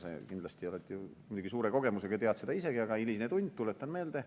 Sa kindlasti oled muidugi suure kogemusega ja tead seda isegi, aga hiline tund, tuletan meelde.